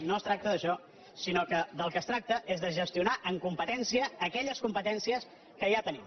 no es tracta d’això sinó que del que es tracta és de gestionar amb competència aquelles competències que ja tenim